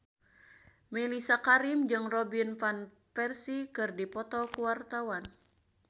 Mellisa Karim jeung Robin Van Persie keur dipoto ku wartawan